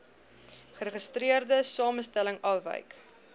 geregistreerde samestelling afwyk